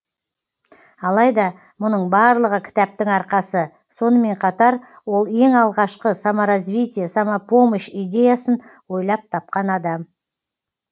алайда мұның барлығы кітаптың арқасы сонымен қатар ол ең алғашқы саморазвитие самопомощь идеясын ойлап тапқан адам